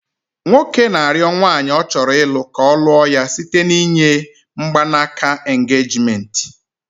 Nwoke na arịo nwanyị ọ chọrọ ịlụ ka ọ lụo ya site n'inye mgbanaka aka engagement